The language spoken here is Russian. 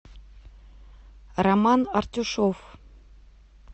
роман артюшов